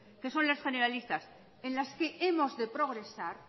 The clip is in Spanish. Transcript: que son las generalistas en las que